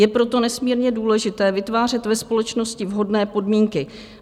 Je proto nesmírně důležité vytvářet ve společnosti vhodné podmínky.